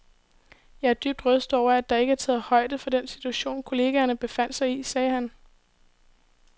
Jeg er dybt rystet over, at der ikke er taget højde for den situation, kollegerne befandt sig i, sagde han.